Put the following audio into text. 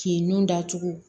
K'i nun datugu